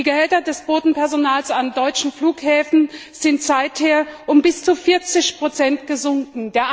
Die Gehälter des Bodenpersonals an deutschen Flughäfen sind seither um bis zu 40 gesunken.